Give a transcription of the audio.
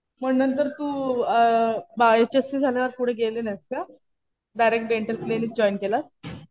मग नंतर तू अ एच.एस.सी. झाल्यावर पुढे गेली नाहीस का? डायरेक्ट डेंटल क्लिनिक जॉईन केलंत.